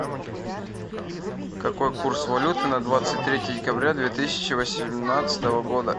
какой курс валюты на двадцать третье декабря две тысячи восемнадцатого года